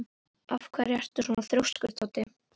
Af hverju ertu svona þrjóskur, Toddi?